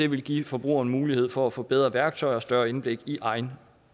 vil give forbrugeren mulighed for at få bedre værktøjer og større indblik i egen